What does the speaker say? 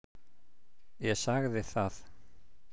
Ég sagði það.